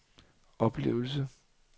oplevelse